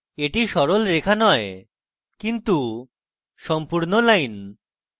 এটি সরল রেখা নয় কিন্তু সম্পূর্ণ line